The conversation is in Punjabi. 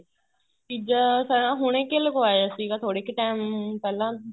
ਤੀਜਾ ਹੁਣ ਕੇ ਲਗਵਾਇਆ ਸੀ ਥੋੜੇ ਕੇ time ਪਹਿਲਾਂ